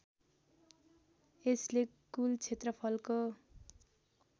यसले कुल क्षेत्रफलको